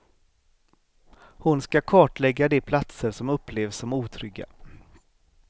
Hon ska kartlägga de platser som upplevs som otrygga.